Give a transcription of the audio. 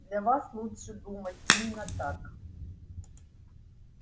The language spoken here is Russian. для вас лучше думать именно так